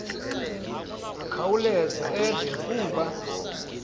akhawuleze eve kuba